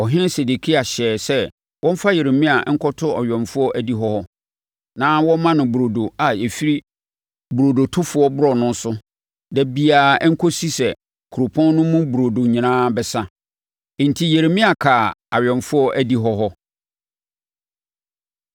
Ɔhene Sedekia hyɛɛ sɛ wɔmfa Yeremia nkɔto awɛmfoɔ adihɔ hɔ, na wɔmma no burodo a ɛfiri burodotofoɔ borɔno so da biara nkɔsi sɛ kuropɔn no mu burodo nyinaa bɛsa. Enti Yeremia kaa awɛmfoɔ adihɔ hɔ.